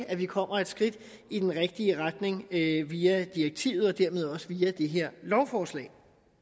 at vi kommer et skridt i den rigtige retning via direktivet og dermed også via det her lovforslag